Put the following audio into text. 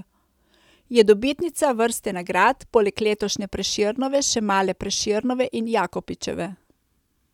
Je dobitnica vrste nagrad, poleg letošnje Prešernove še male Prešernove in Jakopičeve.